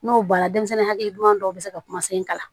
N'o bɔra denmisɛnnin hakilima dɔw bi se ka kuma sen kalan